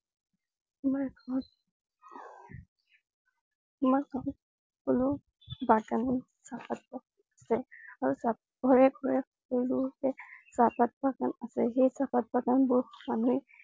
আমাৰ গাওঁ~আমাৰ গাওঁ আৰু তাত ঘৰে ঘৰে সকলোতে চাহপাত বাগান আছে । সেই চাহপাত বাগণবোৰ মানুহে